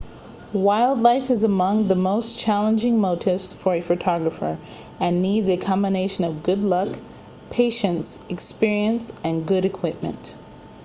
wildlife is among the most challenging motifs for a photographer and needs a combination of good luck patience experience and good equipment